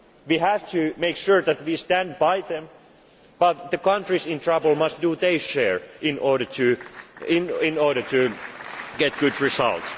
these countries. We have to make sure that we stand by them, but the countries in trouble must also do their share in order to